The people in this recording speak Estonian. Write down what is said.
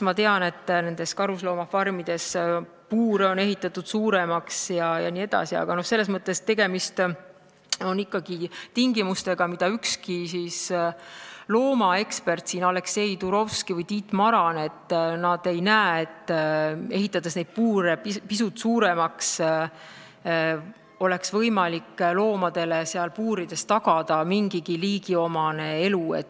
Ma tean, et karusloomafarmides on puurid ehitatud suuremaks ja nii edasi, aga ükski loomaekspert, ei Aleksei Turovski ega Tiit Maran ei arva, et puure pisut suuremaks ehitades oleks võimalik loomadele seal puurides tagada mingigi liigiomane elu.